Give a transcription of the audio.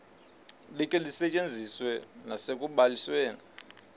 likhe lisetyenziswe nasekubalisweni